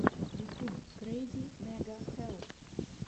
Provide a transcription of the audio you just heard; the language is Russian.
ютюб крэйзи мега хэлл